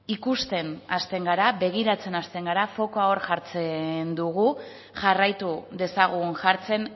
ikusten hasten gara begiratzen hasten gara fokoa hor jartzen dugu jarraitu dezagun jartzen